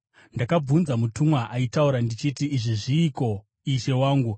Ndakabvunza mutumwa aitaura ndichiti, “Izvi zviiko, ishe wangu?”